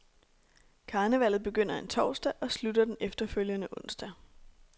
Karnevallet begynder en torsdag og slutter den efterfølgende onsdag.